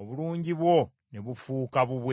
obulungi bwo ne bufuuka bubwe.